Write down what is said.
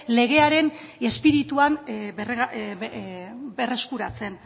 legearen espirituan berreskuratzen